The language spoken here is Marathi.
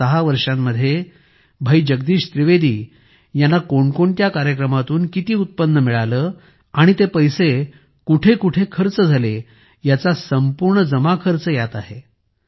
गेल्या ६ वर्षांमध्ये भाई जगदीश त्रिवेदी यांना कोणकोणत्या कार्यक्रमातून किती उत्पन्न मिळाले आणि ते पैसे कुठेकुठे खर्च झाले याचा संपूर्ण जमाखर्च आहे